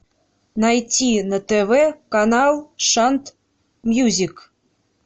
найти на тв канал шант мьюзик